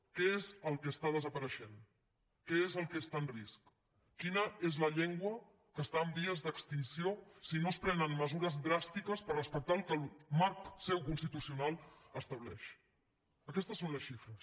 què és el que desapareix què és el que està en risc quina és la llengua que està en vies d’extinció si no es prenen mesures dràstiques per respectar el que marc seu constitucional estableix aquestes són les xifres